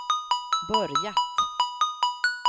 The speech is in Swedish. börjat